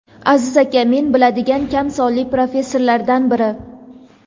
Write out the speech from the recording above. Aziz aka men biladigan kam sonli professionallardan biri.